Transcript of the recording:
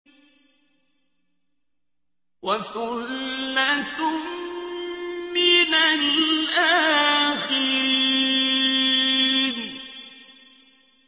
وَثُلَّةٌ مِّنَ الْآخِرِينَ